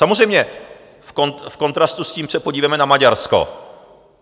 Samozřejmě v kontrastu s tím se podívejme na Maďarsko.